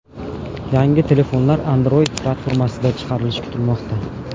Yangi telefonlar Android platformasida chiqarilishi kutilmoqda.